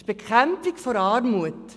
Das ist die Bekämpfung der Armut.